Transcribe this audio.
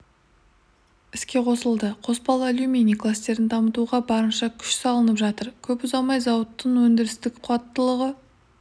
іске қосылды қоспалы алюминий кластерін дамытуға барынша күш салынып жатыр көп ұзамай зауыттың өндірістік қуаттылығы